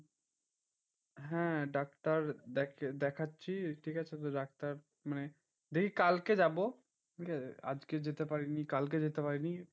হ্যাঁ ডাক্তার দেখা~ দেখাচ্ছি ঠিকাছে? তো ডাক্তার মানে দেখি কালকে যাবো, ঠিকাছে? আজকে যেতে পারিনি কালকে যেতে পারিনি।